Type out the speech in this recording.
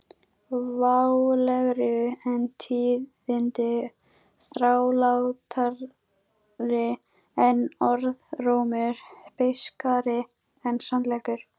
Válegri en tíðindi þrálátari en orðrómur beiskari en sannleikur